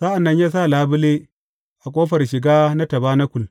Sa’an nan ya sa labule a ƙofar shiga na tabanakul.